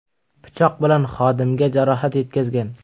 pichoq bilan xodimga jarohat yetkazgan.